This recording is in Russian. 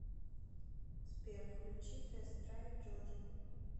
сбер включи тест драйв джоджи